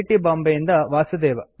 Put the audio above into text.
T ಬಾಂಬೆಯಿಂದ ವಾಸುದೇವ